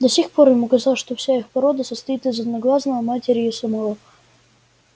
до сих пор ему казалось что вся их порода состоит из одноглазого матери и его самого